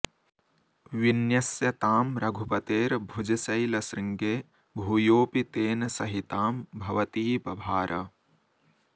विन्यस्य तां रघुपतेर्भुजशैलश्रृङ्गे भूयोऽपि तेन सहितां भवती बभार